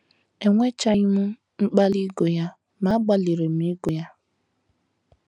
enwechaghị m mkpali ịgụ ya, ma agbalịrị m ịgụ ya.